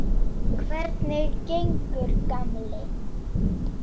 Hvernig gengur, gamli